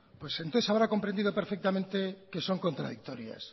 pues entonces habrá comprendido perfectamente que son contradictorias